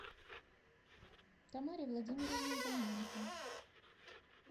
тамаре владимировне иваненко